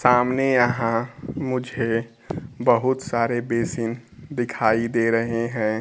सामने यहां मुझे बहूत सारे बेसिन दिखाई दे रहे हैं।